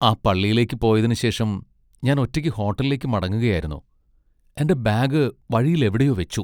ആ പള്ളിയിലേക്ക് പോയതിനുശേഷം, ഞാൻ ഒറ്റയ്ക്ക് ഹോട്ടലിലേക്ക് മടങ്ങുകയായിരുന്നു, എന്റെ ബാഗ് വഴിയിൽ എവിടെയോ വെച്ചു.